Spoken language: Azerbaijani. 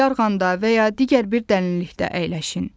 Yarğanda və ya digər bir dərinlikdə əyləşin.